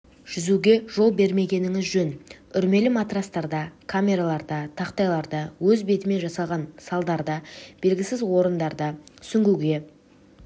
жүзуге жол бермегеніңіз жөн үрмелі матрастарда камераларда тақтайларда өз бетімен жасалған салдарда белгісіз орындарда сүңгуге